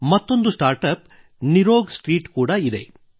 ಮತ್ತೊಂದು start up Nirog street ಕೂಡ ಇದೆ